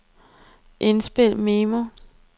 indspil memo